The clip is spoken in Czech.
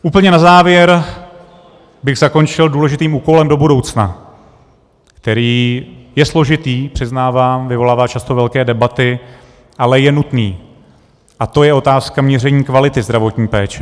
Úplně na závěr bych zakončil důležitým úkolem do budoucna, který je složitý, přiznávám, vyvolává často velké debaty, ale je nutný, a to je otázka měření kvality zdravotní péče.